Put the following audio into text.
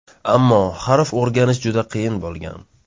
Ammo harf o‘rganish juda qiyin bo‘lgan.